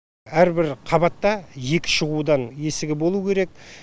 әрбір қабатта екі шығудан есігі болуы керек